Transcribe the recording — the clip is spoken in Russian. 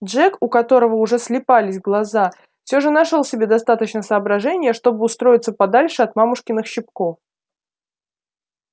джек у которого уже слипались глаза все же нашёл в себе достаточно соображения чтобы устроиться подальше от мамушкиных щипков